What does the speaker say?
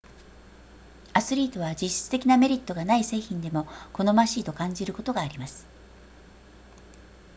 アスリートは実質的なメリットがない製品でも好ましいと感じることがあります